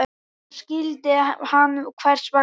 Núna skildi hann hvers vegna.